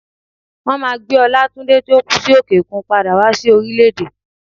Wọn máà gbé Olátúndé tí ó kú sí òkè òkun padà wá sí orílẹ̀ èdè.